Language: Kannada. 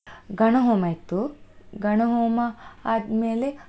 ಗಣ ಹೋಮ ಇತ್ತು, ಗಣ ಹೋಮ ಆದ್ಮೇಲೆ.